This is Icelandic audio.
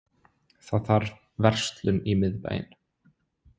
Það þarf verslun í miðbæinn.